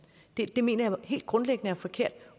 det mener jeg helt grundlæggende er forkert